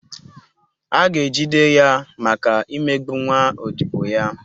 A ga-ejide ya maka imegbu nwa odibo ya.